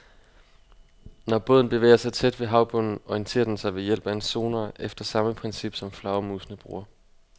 Når båden bevæger sig tæt ved havbunden, orienterer den sig ved hjælp af en sonar efter samme princip, som flagermusene bruger.